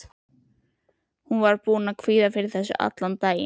Hún var búin að kvíða fyrir þessu allan daginn.